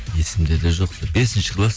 есімде де жоқ бесінші класс